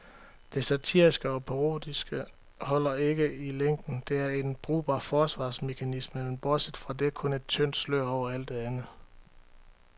Det satiriske og parodiske holder ikke i længden, det er en brugbar forsvarsmekanisme, men bortset fra det kun et tyndt slør over alt det andet.